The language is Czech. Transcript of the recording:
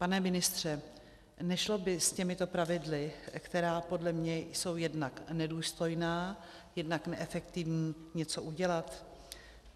Pane ministře, nešlo by s těmito pravidly, která podle mne jsou jednak nedůstojná, jednak neefektivní, něco udělat?